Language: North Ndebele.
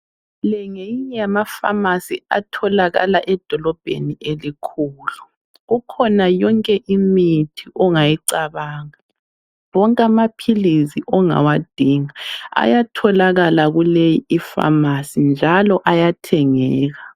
Le ngeyinye yamafamasi atholakala edolobheni elikhulu, kukhona yonke imithi ongayicabanga. Wonke amaphilizi ongawadinga ayatholakala kuleyi ifamasi njalo ayathengeka.